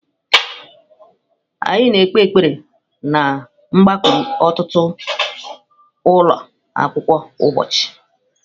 Anyị na-ekpe ekpere ná mgbakọ ụtụtụ ụlọ akwụkwọ kwa ụbọchị.